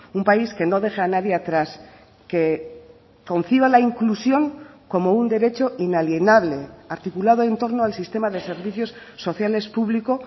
un país que no deja a nadie atrás que conciba la inclusión como un derecho inalienable articulado en torno al sistema de servicios sociales público